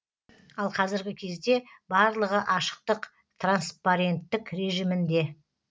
ал қазіргі кезде барлығы ашықтық транспаренттік режимінде